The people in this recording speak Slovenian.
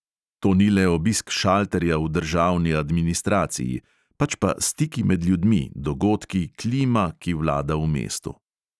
To ni le obisk šalterja v državni administraciji, pač pa stiki med ljudmi, dogodki, klima, ki vlada v mestu.